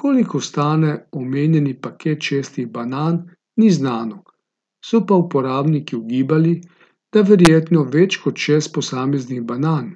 Koliko stane omenjeni paket šestih banan, ni znano, so pa uporabniki ugibali, da verjetno več kot šest posameznih banan,